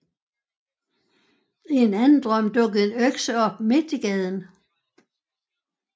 I den anden drøm dukkede en økse op midt i gaden